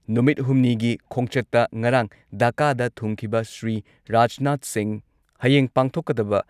ꯅꯨꯃꯤꯠ ꯍꯨꯝꯅꯤꯒꯤ ꯈꯣꯡꯆꯠꯇ ꯉꯔꯥꯡ ꯙꯥꯀꯥꯗ ꯊꯨꯡꯈꯤꯕ ꯁ꯭ꯔꯤ ꯔꯥꯖꯅꯥꯊ ꯁꯤꯡꯍ ꯍꯌꯦꯡ ꯄꯥꯡꯊꯣꯛꯀꯗꯕ